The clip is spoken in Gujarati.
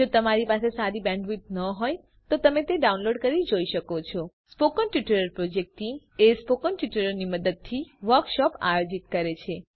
જો તમારી પાસે સારી બેન્ડવિડ્થ ન હોય તો તમે ડાઉનલોડ કરી તે જોઈ શકો છો spoken tutorial project team spoken ટ્યુટોરીયલોની મદદથી વર્કશોપ આયોજિત કરે છે